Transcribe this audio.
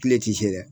Kile ti se dɛ